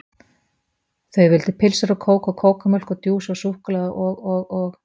Þau vildu pylsur og kók og kókómjólk og djús og súkkulaði og og og